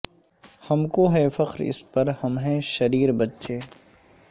ہم کو ہے فخر اس پر ہم ہیں شریر بچے